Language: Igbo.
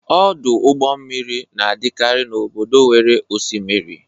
Ọdụ ụgbọ mmiri na-adịkarị n'obodo nwere osimiri.